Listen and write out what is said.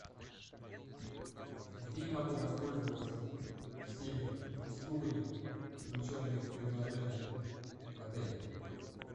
где я могу воспользоваться всеми услугами включенными в предложение в отеле